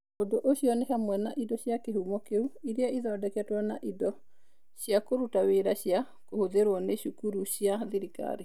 Ũndũ ũcio nĩ hamwe na indo cia kĩhumo kĩu iria ithondeketwo na indo cia kũruta wĩra cia kũhũthĩrũo nĩ cukuru cia thirikari.